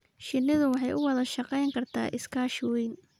Shinnidu waxay u wada shaqayn kartaa iskaashi weyn.